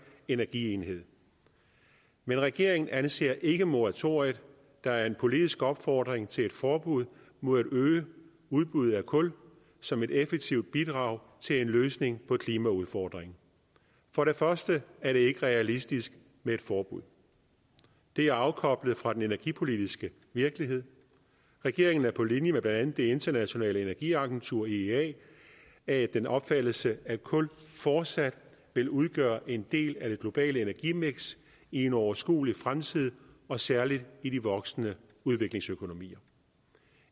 energienhed men regeringen anser ikke moratoriet der er en politisk opfordring til et forbud mod at øge udbuddet af kul som et effektivt bidrag til en løsning på klimaudfordringen for det første er det ikke realistisk med et forbud det er afkoblet fra den energipolitiske virkelighed regeringen er på linje med blandt andet det internationale energiagentur iea af den opfattelse at kul fortsat vil udgøre en del af det globale energimiks i en overskuelig fremtid og særlig i de voksende udviklingsøkonomier